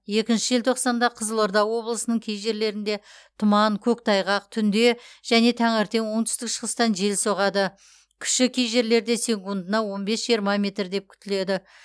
екінші желтоқсанда қызылорда облысының кей жерлерінде тұман көктайғақ түнде және таңертең оңтүстік шығыстан жел соғады күші кей жерлерде секундына он бес жиырма метр деп күтіледі